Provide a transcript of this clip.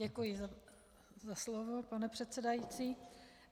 Děkuji za slovo, pane předsedající.